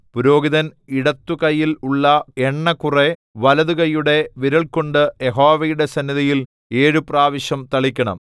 പുരോഹിതൻ ഇടത്തുകൈയിൽ ഉള്ള എണ്ണ കുറെ വലത്തുകൈയുടെ വിരൽകൊണ്ട് യഹോവയുടെ സന്നിധിയിൽ ഏഴു പ്രാവശ്യം തളിക്കണം